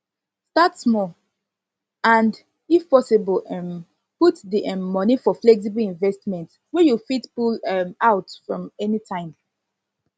start small and if small and if possible um put di um money for flexible investment wey you fit pull um out from anytime